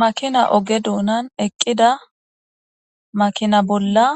Makina oge dunani eqida makina bolla